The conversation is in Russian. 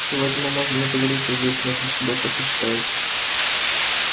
сегодня мы можем договориться здесь между собой как вы считаете